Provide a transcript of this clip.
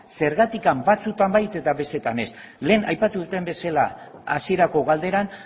zergatik batzuetan bai eta besteetan ez lehen aipatu dudan bezala hasierako galderan